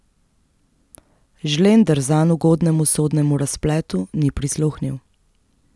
Žlender zanj ugodnemu sodnemu razpletu ni prisluhnil.